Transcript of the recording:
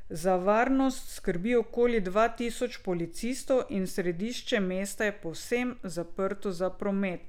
Za varnost skrbi okoli dva tisoč policistov in središče mesta je povsem zaprto za promet.